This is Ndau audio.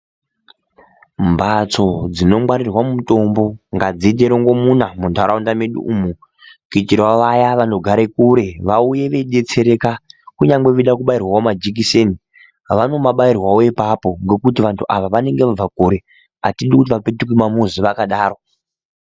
Mbatso dzinongwarirwa mutombo ngadziite muromgo muna mundaraunda mwedu mumo kuitire vaya vanobva kure vaya vanogara kure vauye yeidetsereka kunyangwe veida kubairwawo majekiseni vanomabairwawo ipapo ngokuti vantu ava vanenge vabva kure hatidi kuti vadzokere kuma muszi vakadaro.